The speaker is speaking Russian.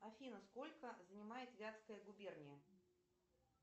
афина сколько занимает вятская губерния